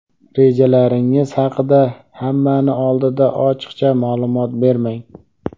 Rejalaringiz haqida hammani oldida ochiqcha ma’lumot bermang.